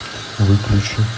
выключи